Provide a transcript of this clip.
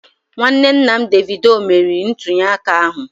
Nwanne nna Davido meriri ntunyeaka ahụ